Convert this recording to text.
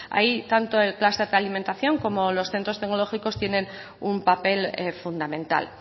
ahí tanto el cluster alimentación como los centros tecnológicos tienen un papel fundamental